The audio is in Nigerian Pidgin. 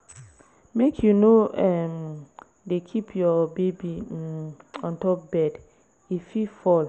Make you no um dey keep your baby um on top bed, e fit fall.